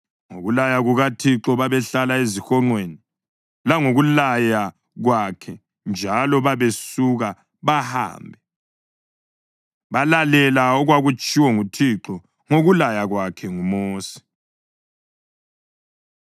Ngokulaya kukaThixo babehlala ezihonqweni, langokulaya kwakhe njalo babesuka bahambe. Balalela okwakutshiwo nguThixo ngokulaya kwakhe ngoMosi.